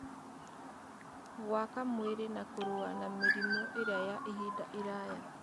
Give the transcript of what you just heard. gwaka mwĩrĩ na kũrũa na mĩrimũ ĩrĩa ya ihinda iraya.